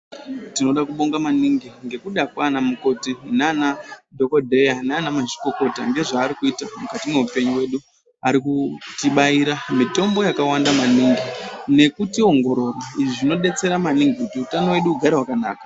Tinoda kubonga maningi nekuda kwana mukoti nana dhokodheya nana mazvikokota ngezvaari kuita mukati mehupenyu hwedu , arikutibaira mitombo yakawanda maningi nekutiongorora izvi zvinodetsera maningi kuti utano hwedu hugare hwakanaka.